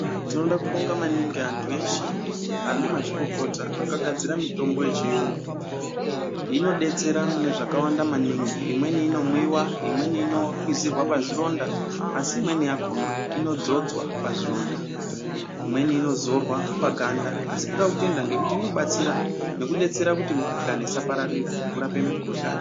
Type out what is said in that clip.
Tinoda kubonga maningi antu eshe ana mazvikokota akagadzira mitombo yechiyungu. Inodetsera mune zvakawanda maningi. Imweni inonwiwa imweni inokwizirwa oazvironda asi imweni yakona inodzodzwa pazvironda, imweni inozorwa paganda asi Toda kutenda ngekuti inobatsira nekudetsera kuti mikhuhlane isapararira nekurape mikhuhlane.